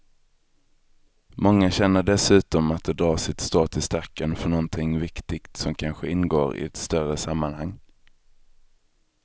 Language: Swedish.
Många känner dessutom att de drar sitt strå till stacken för någonting viktigt som kanske ingår i ett större sammanhang.